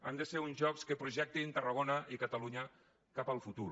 han de ser uns jocs que projectin tarragona i catalunya cap al futur